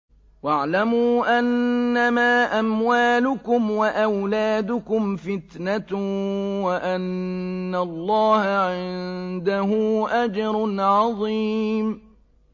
وَاعْلَمُوا أَنَّمَا أَمْوَالُكُمْ وَأَوْلَادُكُمْ فِتْنَةٌ وَأَنَّ اللَّهَ عِندَهُ أَجْرٌ عَظِيمٌ